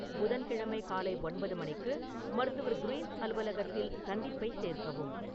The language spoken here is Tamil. புதன்கிழமை காலை ஒன்பது மணிக்கு மருத்துவர் கிரீன்ஸ் அலுவலகத்தில் சந்திப்பை சேர்க்கவும்